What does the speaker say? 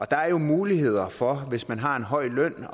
der er jo muligheder for hvis man har en høj løn